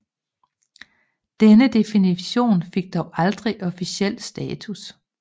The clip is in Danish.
Denne definition fik dog aldrig officiel status